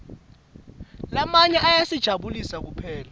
lamanye ayasijabulisa kuphela